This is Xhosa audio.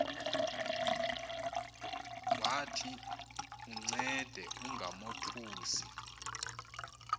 wathi uncede ungamothusi